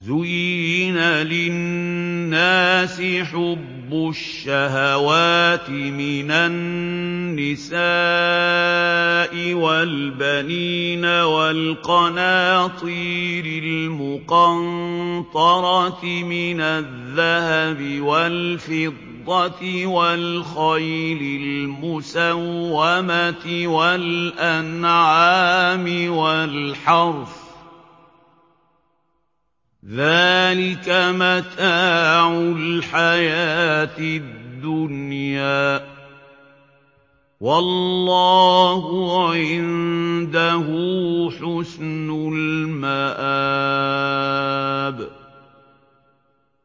زُيِّنَ لِلنَّاسِ حُبُّ الشَّهَوَاتِ مِنَ النِّسَاءِ وَالْبَنِينَ وَالْقَنَاطِيرِ الْمُقَنطَرَةِ مِنَ الذَّهَبِ وَالْفِضَّةِ وَالْخَيْلِ الْمُسَوَّمَةِ وَالْأَنْعَامِ وَالْحَرْثِ ۗ ذَٰلِكَ مَتَاعُ الْحَيَاةِ الدُّنْيَا ۖ وَاللَّهُ عِندَهُ حُسْنُ الْمَآبِ